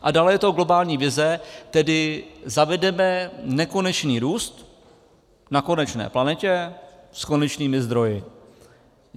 A dále je to globální vize, tedy zavedeme nekonečný růst na konečné planetě s konečnými zdroji.